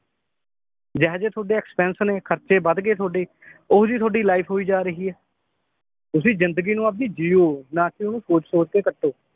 ਜਿਹੇ ਜੇ ਤੁਹਾਡੇ expense ਨੇ ਖਰਚੇ ਵੱਧਗੇ ਤੁਹਾਡੇ ਓਹੋ ਜੀ ਤੁਹਾਡੀ ਲਾਈਫ ਹੋਈ ਜਾ ਰਹੀ ਹੈ ਤੁਸੀ ਜਿੰਦਗੀ ਨੂੰ ਆਪਦੀ ਜੀਯੋ ਨਾ ਕਿ ਓਹਨੂੰ ਕੋਸੋ ਤੇ ਕੱਟੋ